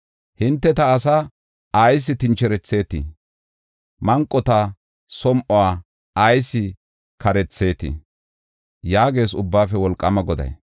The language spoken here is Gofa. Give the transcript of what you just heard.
Hinte ta asaa ayis tincherethetii? Manqota som7uwa ayis kareethetii?” yaagees Ubbaafe Wolqaama Goday.